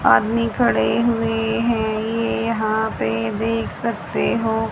आदमी खड़े हुए हैं ये यहां पे देख सकते हो।